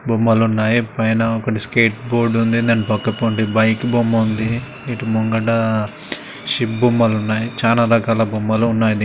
బొమ్మలున్నాయి. పైన ఒకటి skateboard ఉంది. దాని పక్కపొంటి బైక్ బొమ్మ ఉంది ఇటు ముంగట షిప్ బొమ్మలున్నాయి. చానా రకాల బొమ్మలున్నాయి.